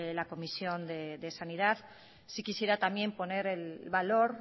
la comisión de sanidad sí quisiera también poner el valor